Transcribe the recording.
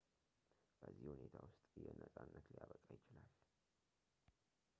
በዚህ ሁኔታ ውስጥ ይሄ ነጻነት ሊያበቃ ይችላል